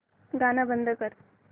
गाणं बंद कर